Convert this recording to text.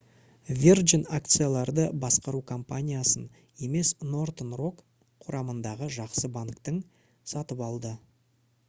virgin акцияларды басқару компаниясын емес northern rock құрамындағы «жақсы банктің» сатып алды